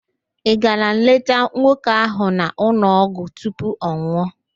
Ị gara leta nwoke ahụ n'ụlọọgwụ tupu ọ nwụọ?